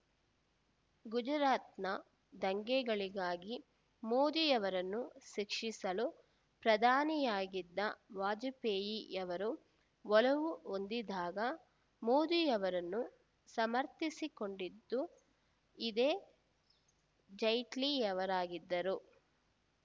ಗುಜರಾತ್‌ನ ದಂಗೆಗಳಿಗಾಗಿ ಮೋದಿಯವರನ್ನು ಶಿಕ್ಷಿಸಲು ಪ್ರಧಾನಿಯಾಗಿದ್ದ ವಾಜಪೇಯಿಯವರು ಒಲವು ಹೊಂದಿದ್ದಾಗ ಮೋದಿಯವರನ್ನು ಸಮರ್ಥಿಸಿಕೊಂಡಿದ್ದು ಇದೇ ಜೈಟ್ಲಿಯವರಾಗಿದ್ದರು